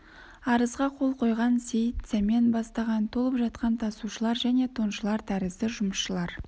арызға қол қойған сейіт сәмен бастаған толып жатқан тасушылар және тоншылар тәрізді жұмысшылар